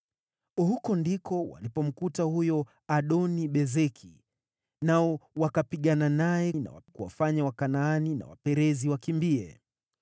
Huko ndiko walipomkuta huyo Adoni-Bezeki, nao wakapigana naye na kuwafanya Wakanaani na Waperizi wakimbie.